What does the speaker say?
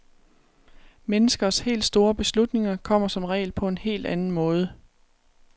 Menneskers helt store beslutninger kommer som regel på en helt anden måde.